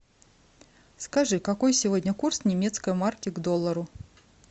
скажи какой сегодня курс немецкой марки к доллару